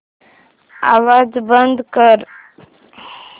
आवाज बंद कर